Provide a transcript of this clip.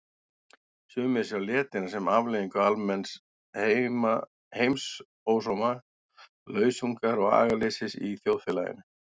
Sumir sjá letina sem afleiðingu almenns heimsósóma, lausungar og agaleysis í þjóðfélaginu.